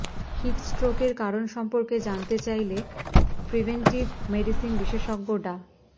হিটস্ট্রোকের কারণ সম্পর্কে জানতে চাইলে প্রিভেন্টিভ মেডিসিন বিশেষজ্ঞ ডা